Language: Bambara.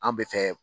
An bɛ fɛ